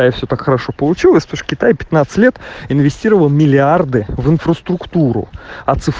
все хорошо получилось китай лет инвестировал миллиарды в инфраструктуру